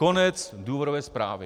Konec důvodové zprávy.